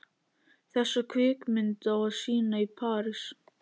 Þessa kvikmynd á að sýna í París.